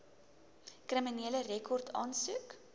kriminele rekord aansoek